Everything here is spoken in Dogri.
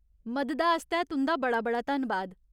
मददा आस्तै तुं'दा बड़ा बड़ा धन्नबाद।